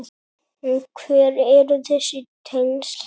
En hver eru þessi tengsl?